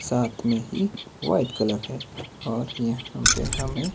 साथ में एक व्हाइट कलर है और यहां पे हमें--